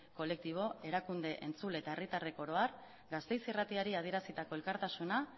kolektibo erakunde entzule eta herritarrek oro har gasteiz irratiari adierazitako elkartasuna